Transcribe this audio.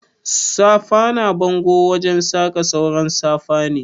Safa na bango wajen saka sauran safa ne.